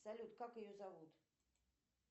салют как ее зовут